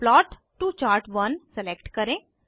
plot to chart one select करें